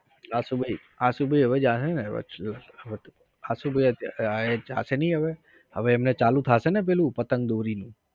આશુ ભાઈ આશુ ભાઈ હવે જશે ને આશુ ભાઈ હવે જાશે નઇ હવે? હવે એમને ચાલુ થશે મે પેલું પતંગ દોરીની